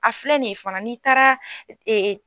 A filɛ nin ye fana n'i taara